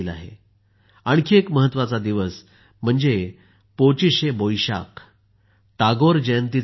आणखी एक महत्वाचा दिवस म्हणजे पोचीशे बोईशाक टागोर जयंतीचा दिवस आहे